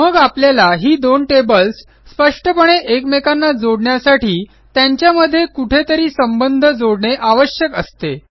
मग आपल्याला ही दोन टेबल्स स्पष्टपणे एकमेकांना जोडण्यासाठी त्यांच्यामध्ये कुठेतरी संबंध जोडणे आवश्यक असते